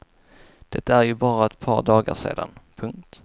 Det är ju bara ett par dagar sedan. punkt